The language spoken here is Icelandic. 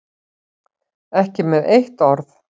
Ekki með eitt orð.